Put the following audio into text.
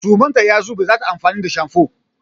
Suman ta ya zube za ta yi amfani da shamfo.